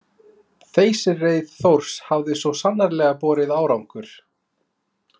Þeysireið Þórs hafði svo sannarlega borið árangur.